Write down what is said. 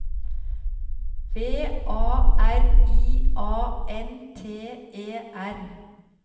V A R I A N T E R